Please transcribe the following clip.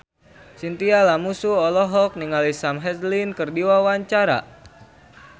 Chintya Lamusu olohok ningali Sam Hazeldine keur diwawancara